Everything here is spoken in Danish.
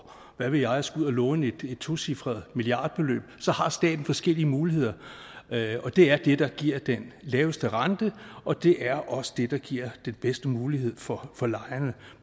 hvad ved jeg skal ud at låne et tocifret milliardbeløb så har staten forskellige muligheder og det er det der giver den laveste rente og det er også det der giver den bedste mulighed for for lejerne